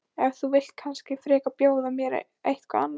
En þú vilt kannski frekar bjóða mér eitthvað annað?